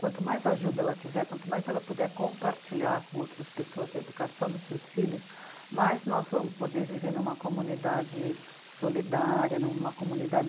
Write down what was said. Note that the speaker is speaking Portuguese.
Quanto mais ajuda ela tiver, quanto mais ela puder compartilhar com outras pessoas a educação dos seus filhos, mais nós vamos poder viver numa comunidade solidária, numa